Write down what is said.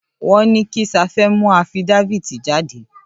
À ó ìåíÿ ïàðà âîïðîñà íå áûëî.